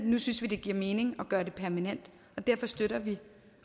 nu synes vi det giver mening at gøre det permanent og derfor støtter vi